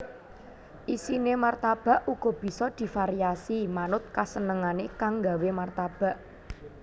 Isiné martabak uga bisa divariasi manut kasenengané kang nggawé martabak